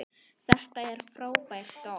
Þetta er frábært orð.